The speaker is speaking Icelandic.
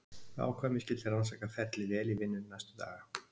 Við ákváðum að ég skyldi rannsaka ferlið vel í vinnunni næstu daga.